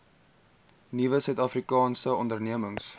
nuwe suidafrikaanse ondernemings